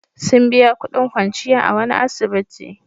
Sun biya kudin kwanciya a wani asibiti.